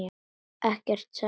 Ekkert, sagði hún.